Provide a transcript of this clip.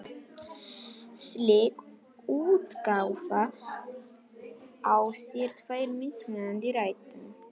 Slík útgáfa á sér tvær mismunandi rætur.